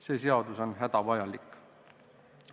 See seadus on hädavajalik.